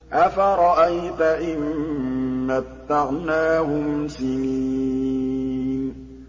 أَفَرَأَيْتَ إِن مَّتَّعْنَاهُمْ سِنِينَ